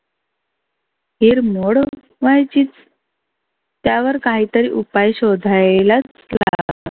हिरमोड व्हायचीच. त्यावर काहीतरी उपाय शोधायलाच